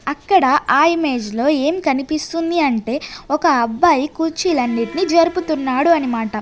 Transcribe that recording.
అక్కడ ఆ ఇమేజ్ లో ఏం కనిపిస్తుంది అంటే ఒక అబ్బాయి కుర్చీలు అన్నిటిని జరుపుతున్నాడు అన్నమాట.